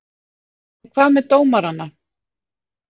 En hvað með dómarana?